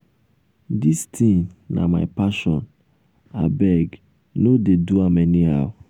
dis thing na my passion. abeg no um dey do am anyhow.